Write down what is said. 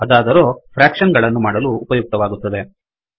ಅದಾದರೋ fraction ವಿಭಾಗ ಗಳನ್ನು ಮಾಡಲು ಉಪಯುಕ್ತವಾಗುತ್ತದೆ